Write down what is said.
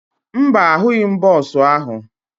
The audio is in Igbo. Mba, ahụghị m bọọsụ ahụ